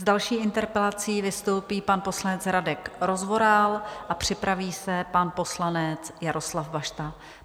S další interpelací vystoupí pan poslanec Radek Rozvoral a připraví se pan poslanec Jaroslav Bašta.